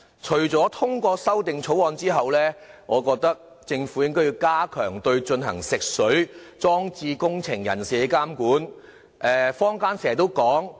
除了通過《條例草案》後，我認為政府應該加強對進行食水裝置工程人士的監管。